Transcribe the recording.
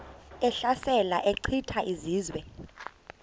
ehlasela echitha izizwe